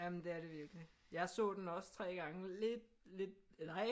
Jamen det er det virkelig jeg så den også 3 gange lidt lidt nej